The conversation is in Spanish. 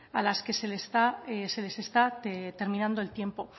a las que se les está terminando el tiempo